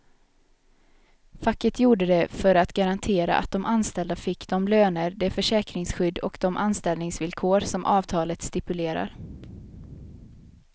Facket gjorde det för att garantera att de anställda fick de löner, det försäkringsskydd och de anställningsvillkor som avtalet stipulerar.